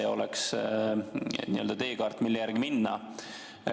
See oleks n-ö teekaart, mille järgi minna.